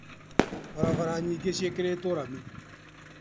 Barabara nyingĩ nĩciĩkĩrĩtwo rami.